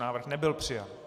Návrh nebyl přijat.